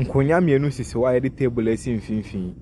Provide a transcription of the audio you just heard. Nkonnwa mmienu sisi hɔ a wɔde table asi mfimfini.